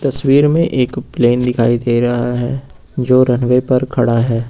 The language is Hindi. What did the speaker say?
तस्वीर में एक प्लेन दिखाई दे रहा है जो रनवे पर खड़ा है।